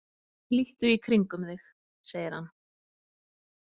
Líttu í kringum þig, segir hann.